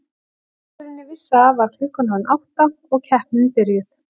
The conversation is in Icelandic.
Áður en ég vissi af var klukkan orðin átta og keppnin byrjuð.